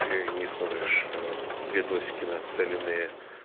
ты не смотришь ээ видосики нацеленные